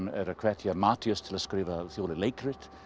hvetur Matthías til að skrifa þjóðleg leikrit